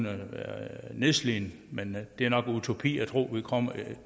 nedslidt men det er nok utopi at tro at vi kommer